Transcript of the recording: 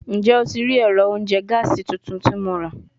Njẹ o ti rii ẹrọ ounjẹ gaasi tuntun ti Mo ra?